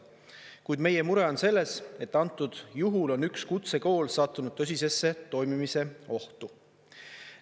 Kuid meie mure on selles, et antud juhul on üks kutsekool sattunud tõsisesse toimimise ohtu.